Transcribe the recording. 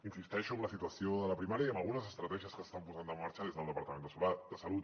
insisteixo en la situació de la primària i en algunes estratègies que s’estan posant en marxa des del departament de salut